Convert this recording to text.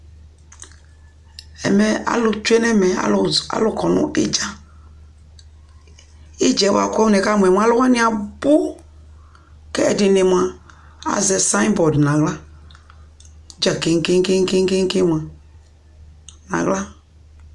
Ɛmɛ alʋ tsue nʋ ɛmɛ Alʋ z kɔ nʋ ɩdza Ɩdza yɛ bʋa kʋ nɩkamʋ yɛ mʋa, alʋ wanɩ abʋ kʋ ɛdɩnɩ mʋa, azɛ sayɩn bɔd nʋ aɣla dza keŋ-keŋ-keŋ mʋa nʋ aɣla